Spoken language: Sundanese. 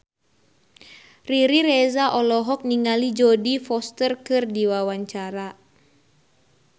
Riri Reza olohok ningali Jodie Foster keur diwawancara